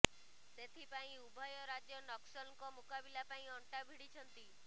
ସେଥିପାଇଁ ଉଭୟ ରାଜ୍ୟ ନକ୍ସଲଙ୍କ ମୁକାବିଲା ପାଇଁ ଅଣ୍ଟା ଭିଡ଼ିଛନ୍ତି